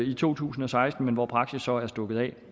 i to tusind og seksten men hvor praksis så er stukket af